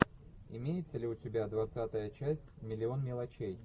имеется ли у тебя двадцатая часть миллион мелочей